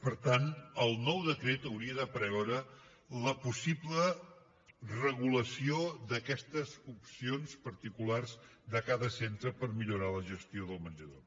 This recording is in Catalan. per tant el nou decret hauria de preveure la possible regulació d’aquestes opcions particulars de cada centre per millorar la gestió del menjador